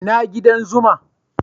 Ina gidan zuman'?